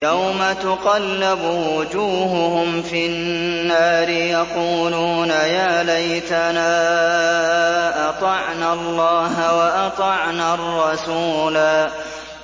يَوْمَ تُقَلَّبُ وُجُوهُهُمْ فِي النَّارِ يَقُولُونَ يَا لَيْتَنَا أَطَعْنَا اللَّهَ وَأَطَعْنَا الرَّسُولَا